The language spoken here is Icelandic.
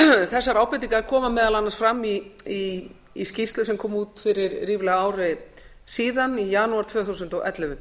þessar ábendingar koma meðal annars fram í skýrslu sem kom út fyrir ríflega ári síðan í janúar tvö þúsund og ellefu